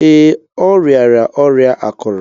Ee, ọ riara ọrịa akuru.